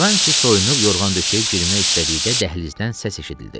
Qarranti soyunub yorğan-döşəyə girmək istədikdə dəhlizdən səs eşidildi.